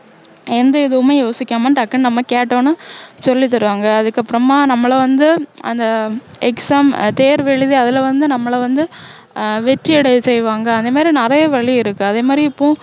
எந்த இதுவுமே யோசிக்காம டக்குன்னு நம்ம கேட்டவுடனே சொல்லித்தருவாங்க அதுக்கப்பறமா நம்மளை வந்து அந்த exam தேர்வு எழுதி அதுல வந்து நம்மளை வந்து ஆஹ் வெற்றியடைய செய்வாங்க இந்தமாதிரி நிறைய வழி இருக்கு அதேமாதிரி இப்போ